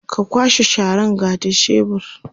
ka kwashe Sharan ga da shebur